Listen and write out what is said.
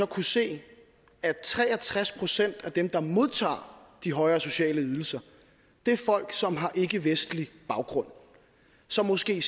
kunne se at tre og tres procent af dem der modtager de højere sociale ydelser er folk som har ikkevestlig baggrund så måske